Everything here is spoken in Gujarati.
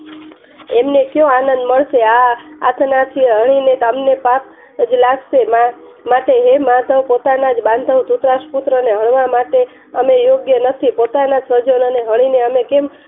એમને કયો આનંદ મળશે આ આજ્ઞાથી હણીને ગામ લાહશે હે માધવ પોતાના જ બાંધવ પુત્ર ને હણવા માત્ર અમે યોગ્ય નથી બોટના સ્વજનો ને હણીને અમે